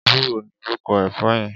Éwùró ni órúkò èfò yèn